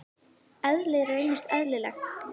Eðlið reynist eðlilegt.